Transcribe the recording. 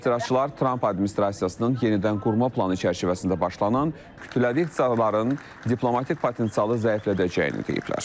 Etirazçılar Tramp administrasiyasının yenidən qurma planı çərçivəsində başlanan kütləvi ixtisarların diplomatik potensialı zəiflədəcəyini deyiblər.